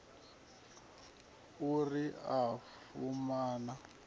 u ri o pfuma na